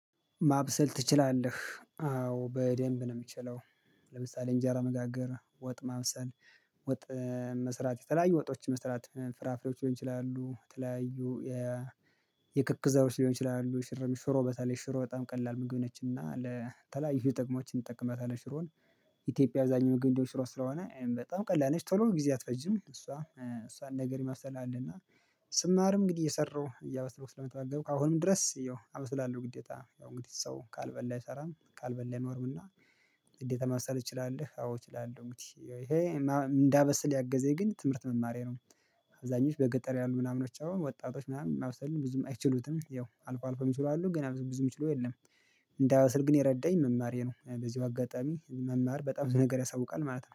ማብሰል ትችላለህ አዎ በደንብ ነው የምችለው። ለምሳሌ እንጃ መጋገር ወጥ ማምሰል። ወጥ መስራት የተለያዩ ወጦች መስራት ፍራፍሮች ሊሆን ይችላሉ። የተለያዩ የ የክክ ዘሮች ሊሆን ይችላሉ። ሽርም ሽሮ በተለይ ሽሮ በጣም ቀላል ምግብ ነችና ለተለይ ይሄ ጥቅሞችን እንጠቀመታለን ሽሮን። ኢትዮጵያ አዛኝም ምግብ እንደ ሽሮ ስለሆነ በጣም ቀላል ነሽ ቶሎ ጊዜ አትፈጅም እሷ እሷን ነገር ይመስላል። እና ስማርም እንግዲህ እየሰራሁ እያበሰኩ ስለመጣገብኩ አሁንም ድረስ ያው አመስላለሁ። ግዴታ ያው እንግዲህ ሰው ካልበላ አይሰራም ካልበላ ነው። እና እንዴት ለመሰል ትችላለህ? አዎ እችላለሁ እንግዲህ ይሄ እንዳበስል ያገዘኝ ግን ትምህርት መማሬ ነው። አብዛኞቹ በገጠር ያሉ ምናምኖች አሁን ወጣቶች ምናምን ምብሰልን ብዙም አይችሉትም ያው አልፎ አልፎ የሚችሉ አሉ ግን ብዙ ብዙ የሚችሉ የለም። እንዳበስል ግን የረዳኝ መማር ይሄ ነው። በዚሁ አጋጣሚ መማር በጣም ነገር ያሳውቃል ማለት ነው